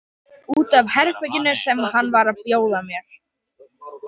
Út af herberginu sem hann var að bjóða mér.